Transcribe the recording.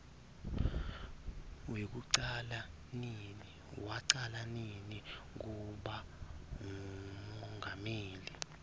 wacala nini kuba ngumongameli